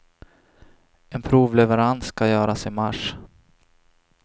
En provleverans ska göras i mars.